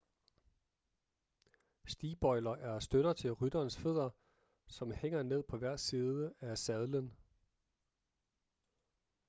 stigbøjler er støtter til rytterens fødder som hænger ned på hver side af sadlen